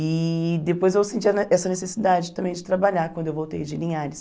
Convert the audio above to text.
E depois eu senti essa necessidade também de trabalhar quando eu voltei de Linhares.